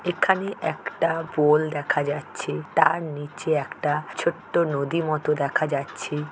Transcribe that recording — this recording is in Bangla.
এখানে একটা পোল দেখা যাচ্ছে তার নিচে একটা ছোট্ট নদী মতো দেখা যাচ্ছে।